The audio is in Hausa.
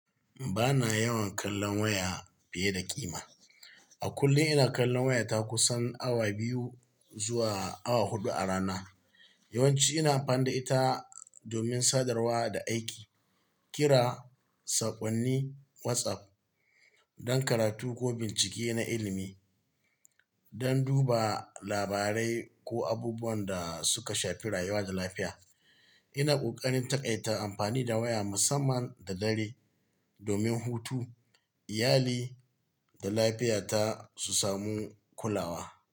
Ba na yawan kallon waya fiye da ƙima. A kullum ina kallon waya ta kusan awa biyu zuwa awa huɗu a rana. Yawanci ina amfani da ita domin sadarwa da aiki, kira, saƙonni, WhatsApp, don karatu ko bincike na ilimi, don duba labarai ko abubuwan da suka shafi rayuwa da lafiya. Ina ƙoƙarin taƙaita amfani da waya musamman da dare domin hutu, iyali da lafiyata su samu kulawa.